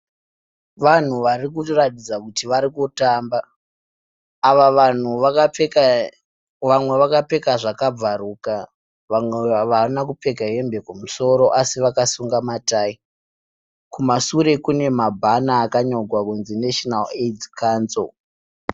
Vanhu varikuratidza kuti varikutamba. Ava vanhu vamwe vakapfeka zvakabvaruka, vamwe havana kupfeka hembe kumusoro asi vakasunga ma tayi, kumashure kune mabhana akanyorwa kunzi National Aids Council.